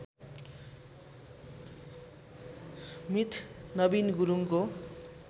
मित नबिन गुरुङको